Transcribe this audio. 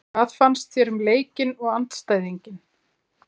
Hvað fannst þér um leikinn og andstæðinginn?